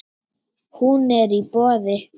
Hún er í boði.